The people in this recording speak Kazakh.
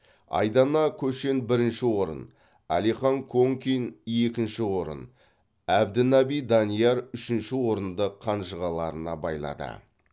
айдана көшен бірінші орын алихан конкин екінші орын әбдінаби данияр үшінші орынды қанжығаларына байлады